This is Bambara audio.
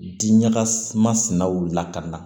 Diɲaga masinaw lakana